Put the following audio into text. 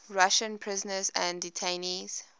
russian prisoners and detainees